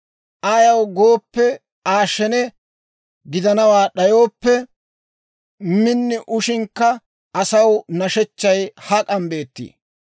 Ayaw gooppe, Aa shene gidanawaa d'ayooppe, min ushshinakka asaw nashechchay hak'an beettii?